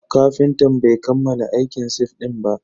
Kafintan bai kammala aikin sif din ba.